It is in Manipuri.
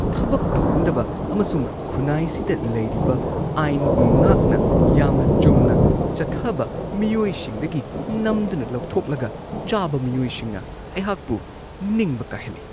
ꯊꯕꯛ ꯇꯧꯅꯤꯡꯗꯕ ꯑꯃꯁꯨꯡ ꯈꯨꯟꯅꯥꯏꯁꯤꯗ ꯂꯩꯔꯤꯕ ꯑꯥꯏꯟ ꯉꯥꯛꯅ ꯌꯥꯝꯅ ꯆꯨꯝꯅ ꯆꯠꯊꯕ ꯃꯤꯑꯣꯏꯁꯤꯡꯗꯒꯤ ꯅꯝꯗꯨꯅ ꯂꯧꯊꯣꯛꯂꯒ ꯆꯥꯕ ꯃꯤꯑꯣꯏꯁꯤꯡꯅ ꯑꯩꯍꯥꯛꯄꯨ ꯅꯤꯡꯕ ꯀꯥꯏꯍꯜꯂꯤ ꯫